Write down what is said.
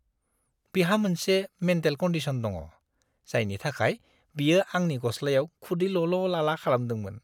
बिहा मोनसे mental condition दङ, जायनि थाखाय बियो आंनि गस्लायाव खुदै लल'-लाला खालामदोंमोन।